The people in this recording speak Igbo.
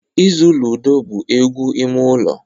Ịzụ ludo bụ egwu ime ụlọ